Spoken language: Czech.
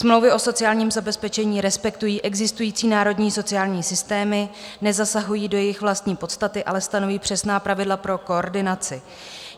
Smlouvy o sociálním zabezpečení respektují existující národní sociální systémy, nezasahují do jejich vlastní podstaty, ale stanoví přesná pravidla pro koordinaci.